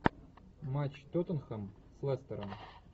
матч тоттенхэм с лестером